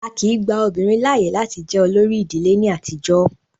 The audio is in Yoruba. Á kìí gba obìnrin láàyè láti jẹ olórí ìdílé ní àtijọ́.